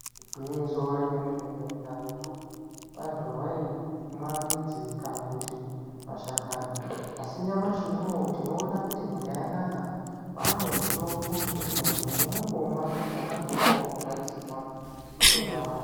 Igwinyiso remenemene karetu vanthu vaimwa midzi kana kuti mashakani asi nyamashi unou tinoona kuti nyika yanaka kwaane mitombo yekuti munthu unondomwa pona apo pawarwadziwa wotonyarara.